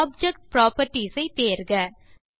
object properties ஐ தேர்க